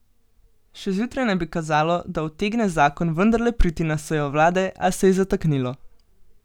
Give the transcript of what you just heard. Še zjutraj naj bi kazalo, da utegne zakon vendarle priti na sejo vlade, a se je zataknilo.